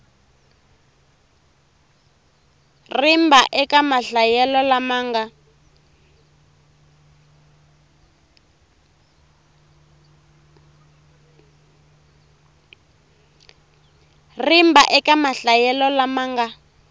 rimba eka mahlayelo lama nga